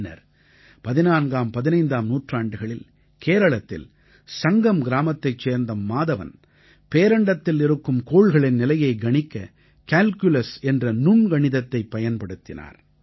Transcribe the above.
பின்னர் 14ஆம்15ஆம் நூற்றாண்டுகளில் கேரளத்தில் சங்கம் கிராமத்தைச் சேர்ந்த மாதவன் பேரண்டத்தில் இருக்கும் கோள்களின் நிலையைக் கணிக்க கால்குலஸ் என்ற நுண்கணிதத்தைப் பயன்படுத்தினார்